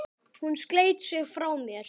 Hún sleit sig frá mér.